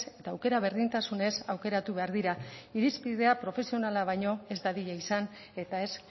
eta aukera berdintasunez aukeratu behar dira irizpidea profesionala baino ez dadila izan eta ez